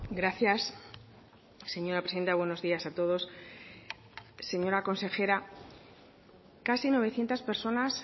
gracias señora presidenta buenos días a todos señora consejera casi novecientos personas